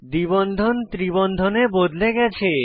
দ্বি বন্ধন ত্রি বন্ধনে বদলে গেছে